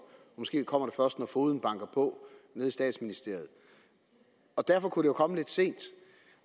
måske kommer det først når fogeden banker på nede i statsministeriet og derfor kunne det komme lidt sent